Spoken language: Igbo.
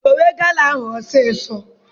Dowe gala ahụ ọsọ!